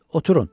Oturun.